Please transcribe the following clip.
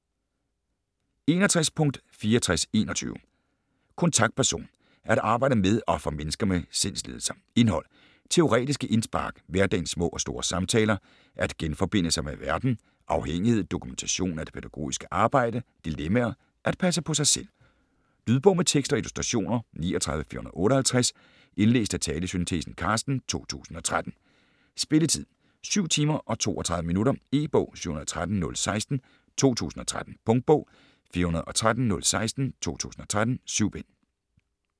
61.6421 Kontaktperson: at arbejde med og for mennesker med sindslidelser Indhold: Teoretiske indspark, Hverdagens små og store samtaler, At genforbinde sig med verden, Afhængighed, Dokumentation af det pædagogiske arbejde, Dilemmaer, At passe på sig selv. Lydbog med tekst og illustrationer 39458 Indlæst af talesyntesen Carsten, 2013. Spilletid: 7 timer, 32 minutter. E-bog 713016 2013. Punktbog 413016 2013. 7 bind.